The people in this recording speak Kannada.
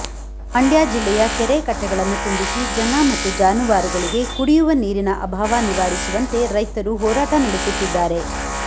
ಮಂಡ್ಯ ಜಿಲ್ಲೆಯ ಕೆರೆ ಕಟ್ಟೆಗಳನ್ನು ತುಂಬಿಸಿ ಜನ ಮತ್ತು ಜಾನುವಾರುಗಳಿಗೆ ಕುಡಿಯುವ ನೀರಿನ ಅಭಾವ ನಿವಾರಿಸುವಂತೆ ರೈತರು ಹೋರಾಟ ನಡೆಸುತ್ತಿದ್ದಾರೆ